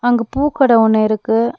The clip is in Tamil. அங்கு பூ கட ஒன்னு இருக்கு.